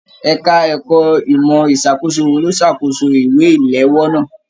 Ẹka ẹ̀kọ́ ìmọ ìṣàkóso wò ló n s'akoso ìwé iléwọ́ náa.